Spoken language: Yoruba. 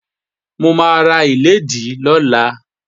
Mò máa ra páàdì lọ́la